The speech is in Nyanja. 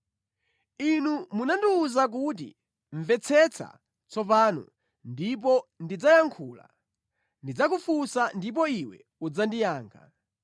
“Inu munandiwuza kuti, ‘Mvetsetsa tsopano ndipo ndidzayankhula; ndidzakufunsa ndipo iwe udzandiyankhe.’